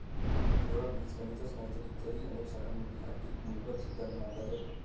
केवळ बीजगणितच नाही, तर इतरही अनेक शाखांमधील हा एक मूलभूत सिद्धांत मानला जातो.